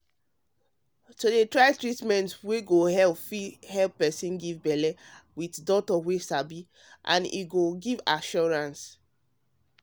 to dey try treatment wey go help fit help person get belle with doctor wey sabi go fit give assurance